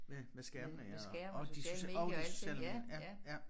Med med skærmene ja og og de social og de sociale medier ja ja